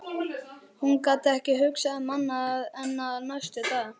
Mér þykir leitt að valda þér vonbrigðum.